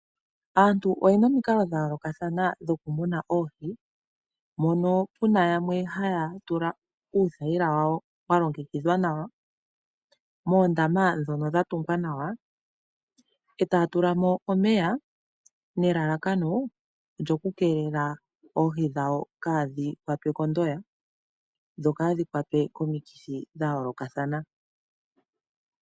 Aantu oyena omikalo dha yoolokathana dhoku muna oohi mono puna yamwe haya tula uuthayila wawo walongekidhwa nawa, moondama dhono dha tungwa nawa e taya tulamo omeya nelalakano olyo ku keelela oohi dhawo kaadhi kwatwe kondoya dho kaadhi kwatwe komikithi dha yoolokathana.